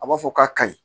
A b'a fɔ k'a kaɲi